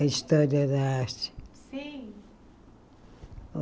A História da Arte. Sim